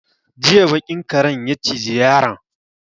Jiya baƙin karen ya ciji yaron.